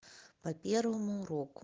по первому уроку